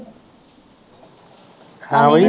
ਹਾਂ ਬਈ